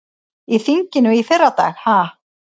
Í þinginu í fyrradag ha?